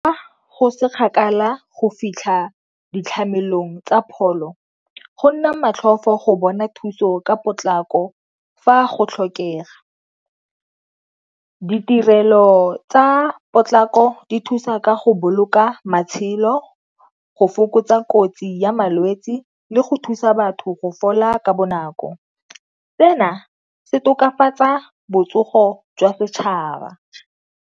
Go se kgakala go fitlha ditlhamelong tsa pholo go nna motlhofo go bona thuso ka potlako fa go tlhokega. Ditirelo tsa potlako ko di thusa ka go boloka matshelo go fokotsa kotsi ya malwetsi le go thusa batho go fola ka bonako. Tsena se tokafatsa botsogo jwa setšhaba.